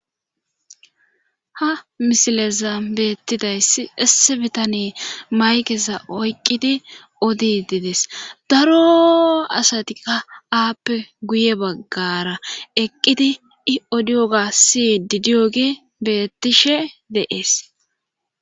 Hamisileza beettidasi esse bitane maykesa oyqqidi odi dides daro asatika aappe guye baggara eqqidi i odioga si didiyoge bettishe deees.